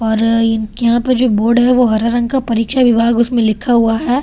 और इनके वहाँ पे जो वुड है वो हरे रंग का परिचय विभाग उसमे लिखा हुआ है।